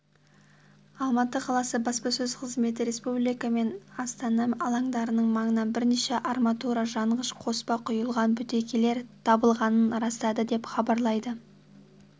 алматы қаласы баспасөз қызметі республика мен астана алаңдарының маңынан бірнеше арматура жанғыш қоспа құйылған бөтелкелер табылғанын растады деп хабарлайды